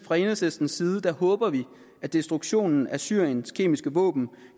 fra enhedslistens side håber vi at destruktionen af syriens kemiske våben